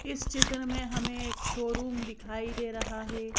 इस चित्र में हमें एक शोरूम दिखाई दे रहा है।